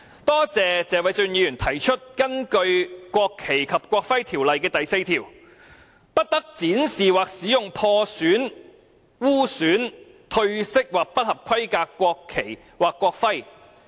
多謝謝偉俊議員指出，根據《國旗及國徽條例》第4條，"不得展示或使用破損、污損、褪色或不合規格的國旗或國徽。